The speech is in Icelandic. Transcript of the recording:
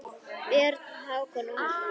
Börn: Hákon og Harpa.